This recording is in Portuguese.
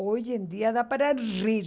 Hoje em dia dá para rir.